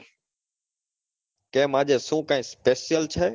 કેમ આજે શું કાઈ special છે?